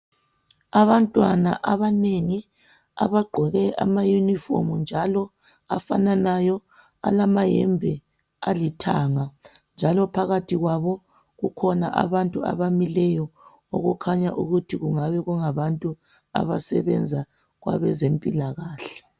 Abantwana abanengi abagqoke amaYunifomu njalo afananayo alamayembe alithanga njalo phakathi kwabo kukhona abantu abamileyo okukhanya ukuthi kungaba ngabantu abasebenza kwabezempilakahle